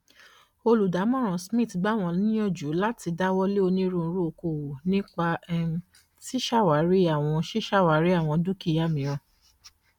olùdámọràn smiths gbà wọn níyànjú láti dáwọlé onírúurú oko òwò nípa um ṣíṣàwárí àwọn ṣíṣàwárí àwọn dúkìá mìíràn